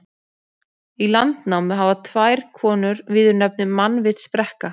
Í Landnámu hafa tvær konur viðurnefnið mannvitsbrekka.